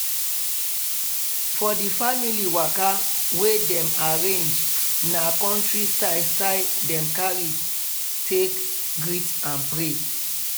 for di family waka wey dem arrange na countri style style dem carry take greet and pray.